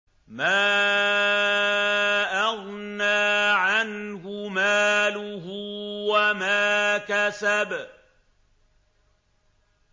مَا أَغْنَىٰ عَنْهُ مَالُهُ وَمَا كَسَبَ